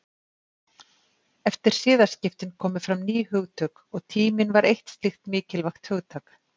Eftir siðaskiptin komu fram ný hugtök og tíminn var eitt slíkt mikilvægt hugtak.